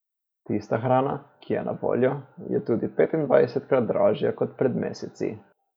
Tista hrana, ki je na voljo, je tudi petindvajsetkrat dražja kot pred meseci.